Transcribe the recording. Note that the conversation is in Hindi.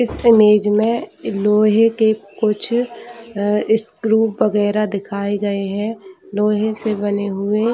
इस इमेज में लोहे के कुछ अ स्क्रू वगेरा दिखाए गए है लोहे से बने हुए--